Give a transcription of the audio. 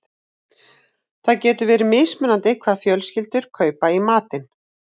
Það getur verið mismunandi hvað fjölskyldur kaupa í matinn.